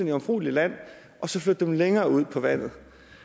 jomfrueligt land og så flytte dem længere ud på vandet